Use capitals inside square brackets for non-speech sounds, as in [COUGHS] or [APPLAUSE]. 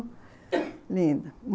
[COUGHS] Linda.